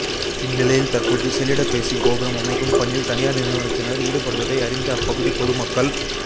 இந்நிலையில் தற்போது செல்லிடப்பேசி கோபுரம் அமைக்கும் பணியில் தனியாா் நிறுவனத்தினா் ஈடுபடுவதை அறிந்த அப்பகுதி பொதுமக்கள்